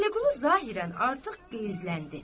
Vəliqulu zahirən artıq qəzbləndi.